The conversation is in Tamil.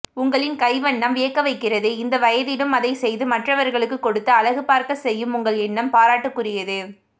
உங்களின் கைவண்ணம் வியக்கவைக்கிறது இந்த வயதிலும் அதை செய்து மற்றவர்களுக்கு கொடுத்து அழகு பார்க்க செய்யும் உங்கள் எண்ணம் பாராட்டுகுரியது